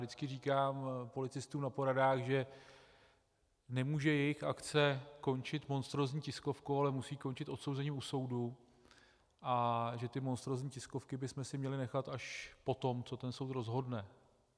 Vždycky říkám policistům na poradách, že nemůže jejich akce končit monstrózní tiskovkou, ale musí končit odsouzením u soudu, a že ty monstrózní tiskovky bychom si měli nechat až potom, co ten soud rozhodne.